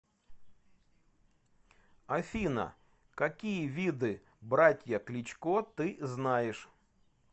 афина какие виды братья кличко ты знаешь